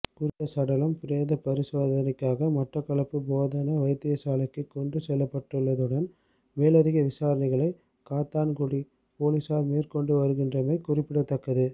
குறித்த சடலம் பிரேத பரிசோதனைக்காக மட்டக்களப்பு போதனா வைத்தியசாலைக்கு கொண்டு செல்லப்பட்டுள்ளதுடன் மேலதிக விசரணைகளை காத்தான்குடி பொலிஸார் மேற்கொண்டுவருகின்றமை குறிப்பிடத்தக்கது